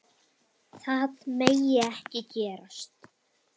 Það megi ekki gerast.